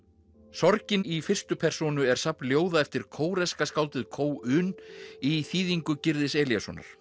sorgin í fyrstu persónu er safn ljóða eftir kóreska skáldið un í þýðingu Gyrðis Elíassonar